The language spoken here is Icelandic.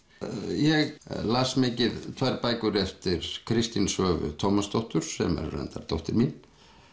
ég las mikið tvær bækur eftir Kristínu Svövu Tómasdóttur sem er reyndar dóttir mín